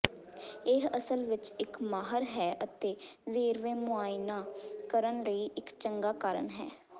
ਇਹ ਅਸਲ ਵਿੱਚ ਇੱਕ ਮਾਹਰ ਹੈ ਅਤੇ ਵੇਰਵੇ ਮੁਆਇਨਾ ਕਰਨ ਲਈ ਇੱਕ ਚੰਗਾ ਕਾਰਨ ਹੈ